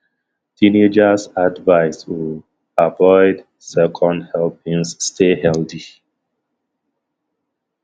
teenagers advised um avoid second helpings stay healthy